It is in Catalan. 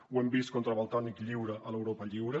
ho hem vist contra valtònyc lliure a l’europa lliure